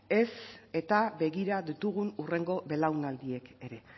ezta begira ditugun hurrengo belaunaldiek ere